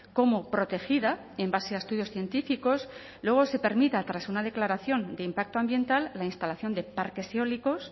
como protegida en base a estudios científicos luego se permita tras una declaración de impacto ambiental la instalación de parques eólicos